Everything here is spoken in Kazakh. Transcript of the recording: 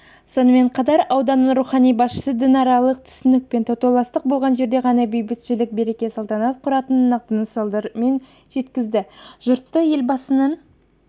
сонымен қатар ауданның рухани басшысы дінаралық түсіністік пен татулық болған жерде ғана бейбітшілік береке салтанат құратынын нақты мысалдармен жеткізді жұртты елбасының